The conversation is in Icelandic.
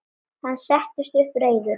Hann settist upp, reiður.